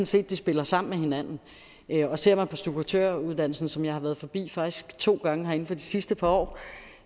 set at de spiller sammen med hinanden ser man på stukkatøruddannelsen som jeg faktisk har været forbi to gange her inden for de sidste par år